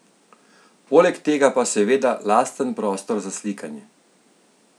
Poleg tega pa seveda lasten prostor za slikanje.